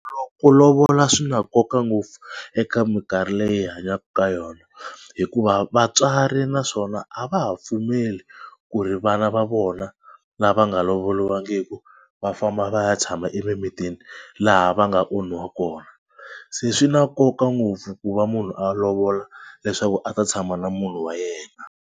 Ku lovola swi na nkoka ngopfu eka mikarhi leyi hi hanyaka ka yona hikuva vatswari naswona a va ha pfumeli ku ri vana va vona lava nga lovoliwangiki va famba va ya tshama emimitini laha va nga onhiwa kona. Se swi na nkoka ngopfu ku va munhu a lovola leswaku a ta tshama na munhu wa yena.